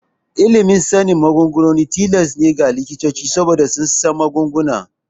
Ilimin sanin magunguna tilas ne ga likitoci saboda su san magunguna.